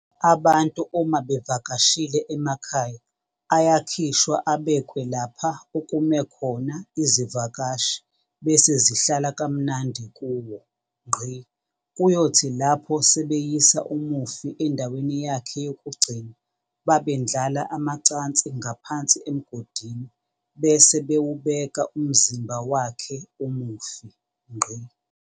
Abantu uma bevakashile emakhaya ayakhishwa abekwe lapha okume khona izivakashi bese zihlala kamnandi kuwo. Kuyothi lapho sebeyisa umufi endaweni yakhe yokugcina babendlala amacansi ngaphansi emgodini bese bewubeka umzimba wakhe umufi.